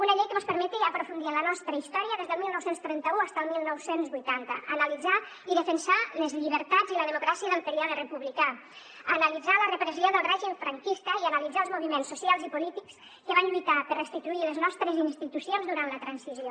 una llei que mos permeti aprofundir en la nostra història des del dinou trenta u fins al dinou vuitanta analitzar i defensar les llibertats i la democràcia del període republicà analitzar la repressió del règim franquista i analitzar els moviments socials i polítics que van lluitar per restituir les nostres institucions durant la transició